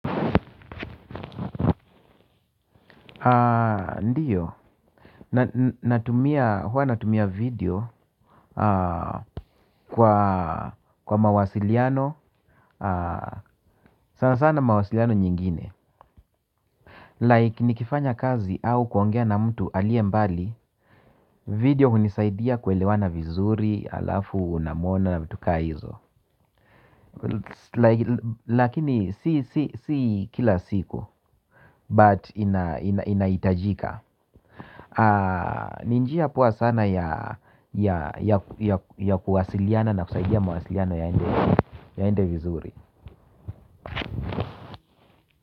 Ndiyo huwa natumia video. Kwa mawasiliano sana sana mawasiliano nyingine Like nikifanya kazi au kuongea na mtu aliye mbali. Video hunisaidia kuelewana vizuri. Alafu unamwona na vitu ka hizo. Lakini si kila siku But inahitajika. Ni njia poa sana ya kuwasiliana na kusaidia mawasiliano yaende vizuri.